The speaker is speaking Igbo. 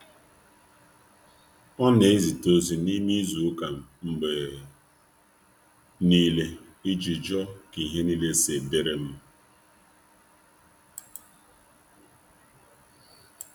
um Ọ na ezite um ozi n’ime izu ụka mgbe niile iji um jụọ ka ihe niile si dịrị m.